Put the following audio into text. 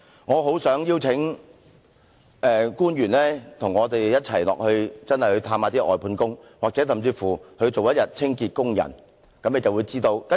我很想邀請官員與我們一同探訪外判工，甚至當一天清潔工人，他們便會知道實情。